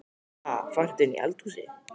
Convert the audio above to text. Ha! Fannstu þetta inni í eldhúsi?